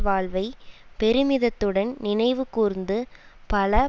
வாழ்வை பெருமிதத்துடன் நினைவுகூர்ந்து பல